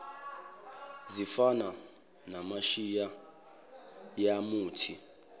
zifana namashiya yamuthi